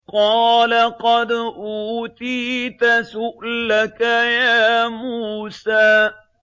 قَالَ قَدْ أُوتِيتَ سُؤْلَكَ يَا مُوسَىٰ